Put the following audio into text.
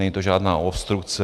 Není to žádná obstrukce.